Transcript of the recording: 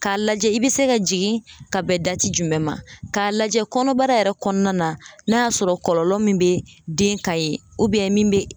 K'a lajɛ i bɛ se ka jigin ka bɛn dati jumɛn, k'a lajɛ kɔnɔbara yɛrɛ kɔnɔna na n'a y'a sɔrɔ kɔlɔlɔ min bɛ den ka ye min bɛ